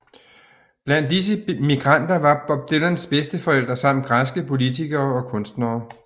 Blandt disse migranter var Bob Dylans bedsteforældre samt græske politikere og kunstnere